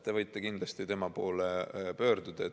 Te võite kindlasti tema poole pöörduda.